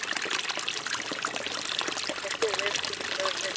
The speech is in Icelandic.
Hver af þeim eru í útrýmingarhættu eða eru sérstök að öðru leyti?